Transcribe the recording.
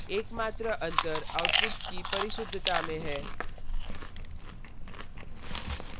एकमात्र अंतर outputs की परिशुद्धता में है